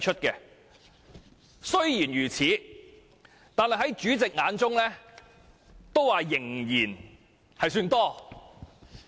儘管如此，在主席眼中仍然算多。